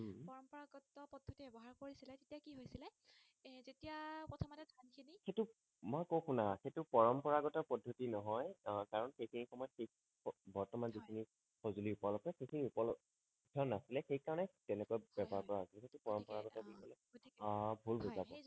মই কওঁ শুনা সেইটো পৰম্পৰাগত পদ্ধতি নহয় আহ কাৰণ সেই সময়ত বৰ্তমান যিখিনি হয় সঁজুলি উলদ্ধ উলদ্ধ নাছিলে সেই কাৰণে তেনেকুৱা ব্যৱহাৰ কৰা হৈছিল হয় হয় ঠিকেই সেইটো পৰম্পৰাগত আহ ভুল বুজা